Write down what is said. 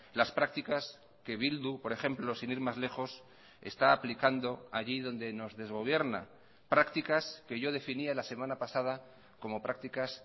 las prácticas que bildu por ejemplo sin ir más lejos está aplicando allí donde nos desgobierna prácticas que yo definía la semana pasada como prácticas